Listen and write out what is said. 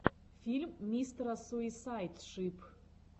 фильм мистера суисайд шип